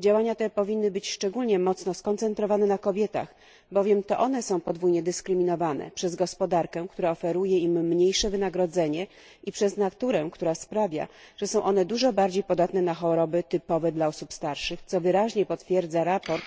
Działania te powinny być szczególnie mocno skoncentrowane na kobietach, bowiem to one są podwójnie dyskryminowane przez gospodarkę, która oferuje im mniejsze wynagrodzenie, i przez naturę, która sprawia, że są one dużo bardziej podatne na choroby typowe dla osób starszych, co wyraźnie potwierdza sprawozdanie